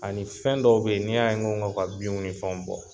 Ani fɛn dɔw bɛ yen , n'i y'a n ko ka ni fɛnw bɔ.